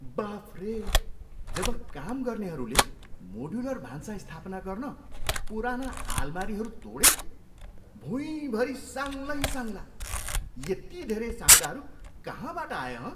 बाफरे! जब काम गर्नेहरूले मोड्युलर भान्सा स्थापना गर्न पुराना आलमारीहरू तोडे, भुँइभरि साङ्गलै साङ्गला! यति धेरै साङ्गलाहरू कहाँबाट आए हँ?